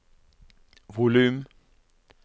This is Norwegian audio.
volum